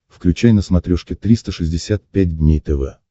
включай на смотрешке триста шестьдесят пять дней тв